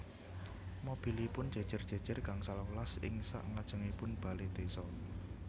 Mobilipun jejer jejer gangsal welas ing sak ngajengipun bale desa